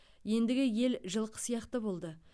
ендігі ел жылқы сияқты болды